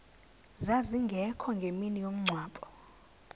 zazingekho ngemini yomngcwabo